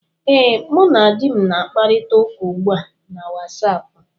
Ee, mụ na di m na-akparịta ụka ugbu a na Wasapụ